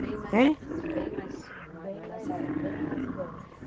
Bem mais, hem, idosa.